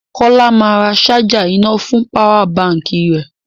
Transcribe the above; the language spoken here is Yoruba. Kọ́lá máa ra ṣájà iná fún páwà baǹkì rẹ.